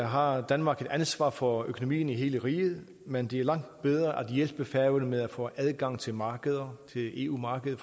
har danmark et ansvar for økonomien i hele riget men det er langt bedre at hjælpe færøerne med at få adgang til markeder eu markedet